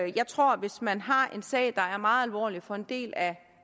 jeg tror at hvis man har en sag der er meget alvorlig for en del af